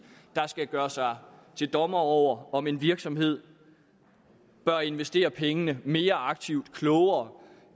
der skal gøre sig til dommer over om en virksomhed bør investere pengene mere aktivt og klogere